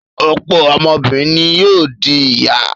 Ọ̀pọ̀ ọmọbìnrin ni yóò di ìyá.